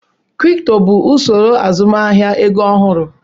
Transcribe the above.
Kripto bụ usoro azụmahịa ego ọhụrụ.